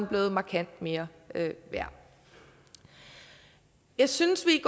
blevet markant mere værd jeg synes vi